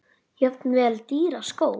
Jafnvel dýra skó?